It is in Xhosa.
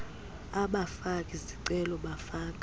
abafaki zicelo bafaka